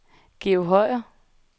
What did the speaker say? Georg Høyer